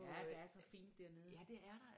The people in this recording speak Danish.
Ja der er så fint dernede